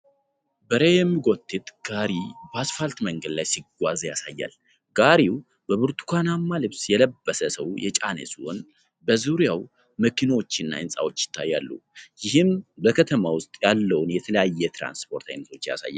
በሬ የሚጎተት ጋሪ በአስፋልት መንገድ ላይ ሲጓዝ ያሳያል። ጋሪው በብርቱካናማ ልብስ የለበሰ ሰው የጫነ ሲሆን፣ በዙሪያው መኪኖችና ሕንፃዎች ይታያሉ። ይህም በከተማ ውስጥ ያለውን የተለያዩ የትራንስፖርት አይነቶች ያሳያል።